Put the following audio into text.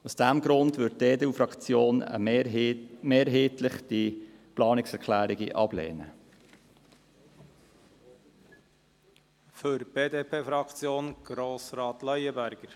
Aus diesem Grund lehnt die EDU-Fraktion die Planungserklärungen mehrheitlich ab.